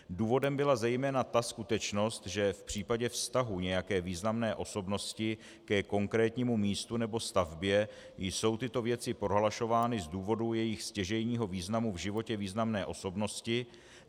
Důvodem byla zejména ta skutečnost, že v případě vztahu nějaké významné osobnosti ke konkrétnímu místu nebo stavbě jsou tyto věci prohlašovány z důvodu jejich stěžejního významu v životě významné osobnosti.